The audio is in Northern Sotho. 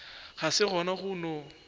ga se gona go no